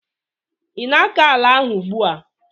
ị na-akọ ala ahụ ugbu a?